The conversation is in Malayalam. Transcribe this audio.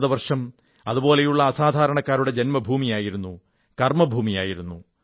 ഭാരതവർഷം അതുപോലുള്ള അസാധാരണക്കാരുടെ ജന്മഭൂമിയായിരുന്നു കർമ്മഭൂമിയായിരുന്നു